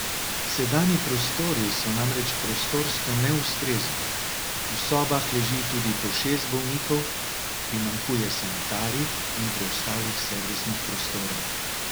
Sedanji prostori so namreč prostorsko neustrezni, v sobah leži tudi po šest bolnikov, primanjkuje sanitarij in preostalih servisnih prostorov.